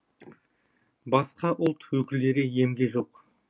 басқа ұлт өкілдері емге жоқ